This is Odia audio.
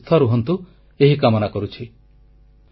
ଆପଣମାନେ ସୁସ୍ଥ ରୁହନ୍ତୁ ଏହି କାମନା କରୁଛି